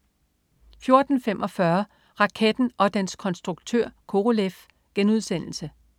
14.45 Raketten og dens konstruktør Korolev*